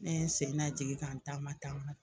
Ne n sen najigin ka n taama taama